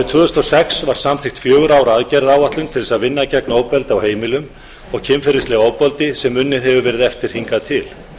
tvö þúsund og sex var samþykkt fjögurra ára aðgerðaáætlun til að vinna gegn ofbeldi á heimilum og kynferðislegu ofbeldi sem unnið hefur verið eftir hingað til